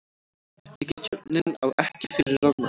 Ríkisstjórnin á ekki fyrir rafmagni